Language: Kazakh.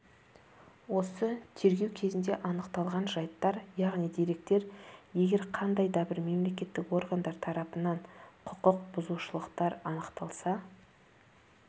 осы тергеу кезінде анықталған жайттар яғни деректер егер қандай дабір мемлекеттік органдар тарапынан құқық бұзушылықтар анықталса